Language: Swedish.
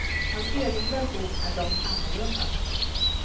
Hans egen version är dock annorlunda.